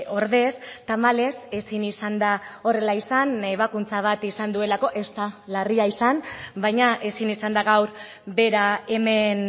ordez tamalez ezin izan da horrela izan ebakuntza bat izan duelako ez da larria izan baina ezin izan da gaur bera hemen